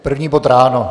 První bod ráno?